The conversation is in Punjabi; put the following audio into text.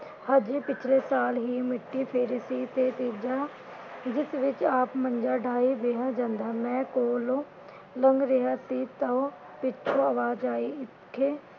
ਹਜੇ ਪਿਛਲੇ ਸਾਲ ਹੀ ਮਿੱਟੀ ਫੇਰੀ ਸੀ ਤੇ ਤੀਜਾ ਜਿਸ ਵਿਚ ਆਪ ਮੰਜਾ ਡਾਹੀ ਬਿਹਾ ਜਾਂਦਾ । ਮੈਂ ਕੋਲੋ ਲੰਘ ਰਿਹਾ ਸੀ ਤਾਂ ਪਿਛੋਂ ਆਵਾਜ ਆਈ ਹਿਥੇ